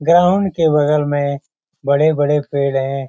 Ground के बगल में बड़े-बड़े पेड़ हैं।